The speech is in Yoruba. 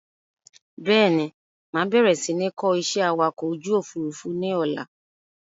Bẹ́ẹ̀ni, máa bẹ̀rẹ̀ si ni kọ́ ìṣẹ́ awakọ̀ ojú Òfurufú ni ọ̀la.